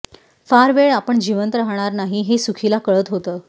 फार वेळ आपण जिवंत राहणार नाही हे सूखीला कळत होतं